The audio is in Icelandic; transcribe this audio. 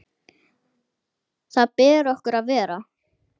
Þar ber okkur að vera!